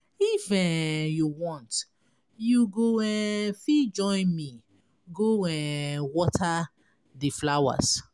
If um you want you go um fit join me go um water the flowers.